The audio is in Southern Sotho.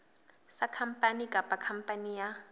sa khampani kapa khampani ya